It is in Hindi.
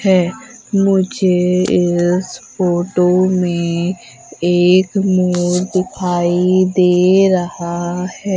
हैं मुझे इस फोटो में एक मोर दिखाई दे रहा है।